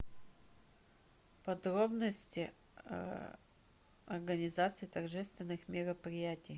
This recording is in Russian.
подробности организации торжественных мероприятий